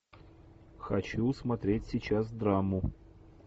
хочу смотреть сейчас драму